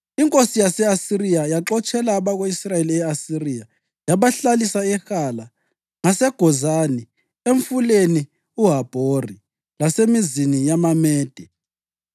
Inkosi yase-Asiriya yaxotshela abako-Israyeli e-Asiriya yabahlalisa eHala ngaseGozani eMfuleni uHabhori lasemizini yamaMede.